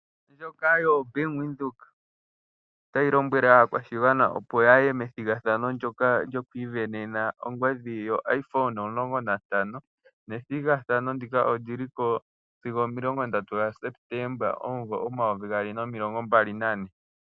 Ombanga yaVenduka otayi lombwele aakwashigwana opo yaye methigathano lyokwiivenena ongodhi ndjoka yoIphone 16 nethigathano ndika oliliko sigo 31 Sepetemba 2024.